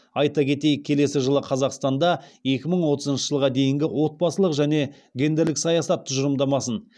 айта кетейік келесі жылы қазақстанда екі мың отызыншы жылға дейінгі отбасылық және гендерлік саясат тұжырымдамасын